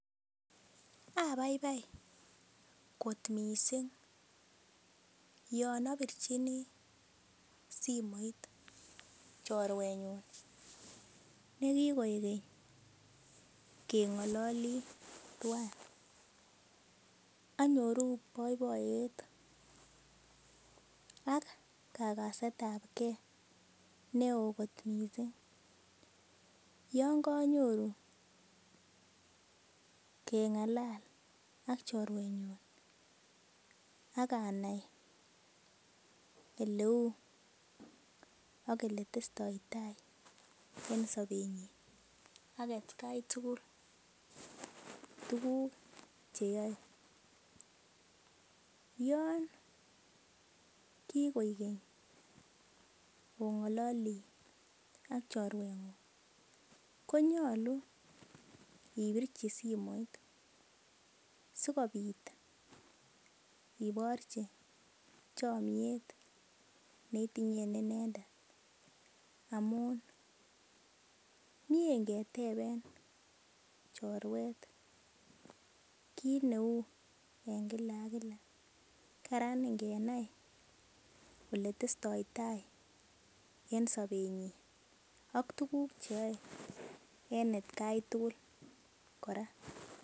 Abaibai kot mising abirchi simoit chorwenyun nekikoik keny kengololi tuan anyoru boiboyet ak kagasetab ge neo kot mising yon konyoru kengalal ak chorwenyun ak anai Oleu ak Ole testotai en sobenyin ak atkai tugul tuguk Che yoe yon kigoik keny ongololi ak chorwengung ko nyolu ibirchi simoit Sikobit ibirchi chomiet neitingen inendet amun mie ingeteben chorwet kit neu en kila ak kila kararan ingenai Ole testoi tai en sobenyin ak tuguk Che yoe en atkai tugul kora